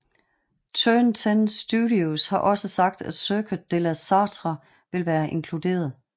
Turn 10 Studios har også sagt at Circuit de la Sarthe vil være inkluderet